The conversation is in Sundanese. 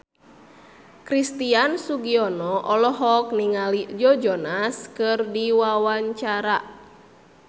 Christian Sugiono olohok ningali Joe Jonas keur diwawancara